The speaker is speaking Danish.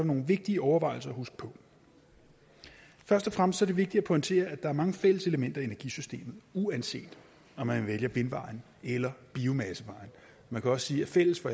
nogle vigtige overvejelser at huske på først og fremmest er det vigtigt at pointere at der er mange fælles elementer i energisystemet uanset om man vælger vindvejen eller biomassevejen man kan også sige at fælles for